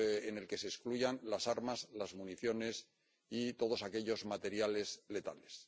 en el que se excluyan las armas, las municiones y todos los materiales letales.